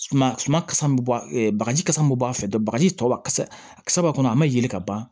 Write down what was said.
Suma suma kasa bɛ bɔ bagaji ka bɔ a fɛ dɔn a kisɛ b'a kɔnɔ a ma yɛlɛ ka ban